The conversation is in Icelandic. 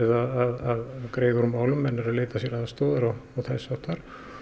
að greiða úr málum menn eru að leita sér aðstoðar og þess háttar